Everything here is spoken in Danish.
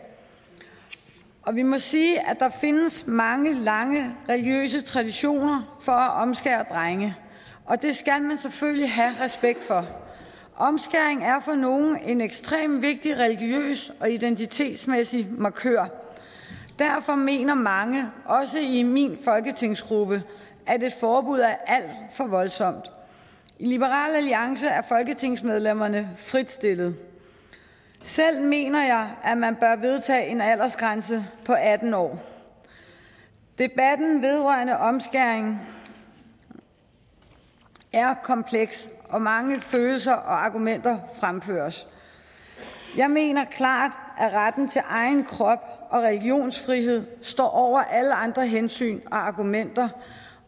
og vi må sige at der findes mange lange religiøse traditioner for at omskære drenge og det skal man selvfølgelig have respekt for omskæring er for nogle en ekstremt vigtig religiøs og identitetmæssig markør derfor mener mange også i min folketingsgruppe at et forbud er alt for voldsomt i liberal alliance er folketingsmedlemmerne fritstillet selv mener jeg at man bør vedtage en aldersgrænse på atten år debatten vedrørende omskæring er kompleks og mange følelser og argumenter fremføres jeg mener klart at retten til egen krop og religionsfrihed står over alle andre hensyn og argumenter